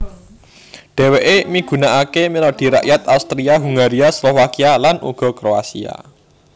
Dheweke migunakake melodi rakyat Austria Hungaria Slovakia lan uga Kroasia